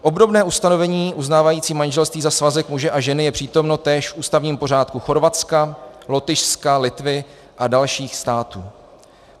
Obdobné ustanovení uznávající manželství za svazek muže a ženy je přítomno též v ústavním pořádku Chorvatska, Lotyšska, Litvy a dalších států.